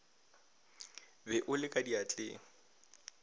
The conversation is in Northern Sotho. be o le ka diatleng